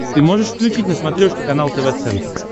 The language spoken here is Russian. ты можешь включить на смотрешке канал тв центр